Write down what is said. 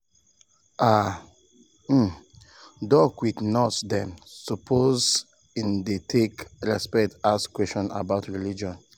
ah um doc with nurse dem supposeas in dey take respect ask questions about religion.